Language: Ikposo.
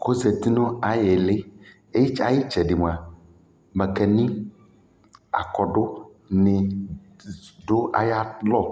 kʋ ɔzati nʋ ayili, ayi ɛtsɛdɛ mʋa makani, akɔdʋ ni dʋ ayialɔ